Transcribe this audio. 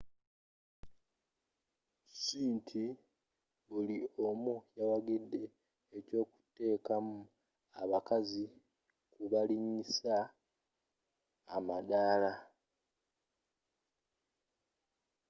ss inti buli omu yawagidde ekyokuteekamu abakazi mu kubalinyisa amadaala